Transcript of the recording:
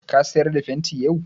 Ka sayar da fenti yau?